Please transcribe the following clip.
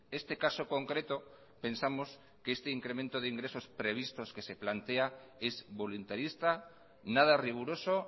este caso concreto pensamos que este incremento de ingresos previstos que se plantea es voluntarista nada riguroso